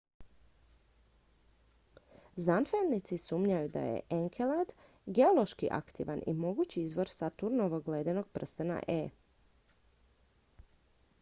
znanstvenici sumnjaju da je enkelad geološki aktivan i mogući izvor saturnovog ledenog prstena e